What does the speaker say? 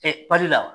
pali la